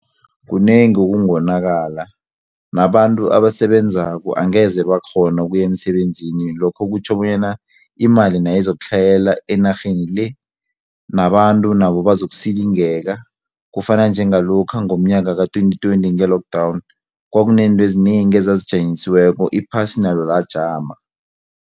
Kunengi okungonakala nabantu abasebenzako angeze bakghona ukuya emsebenzini lokho kutjho bonyana imali nayizakutlhayela enarheni le nabantu nabo bazokusilingeka kufana njengalokha ngomnyaka ka-twenty twenty nge-lockdown kwaku nentweezinengi ezazijanyisiweko iphasi nalo lajama.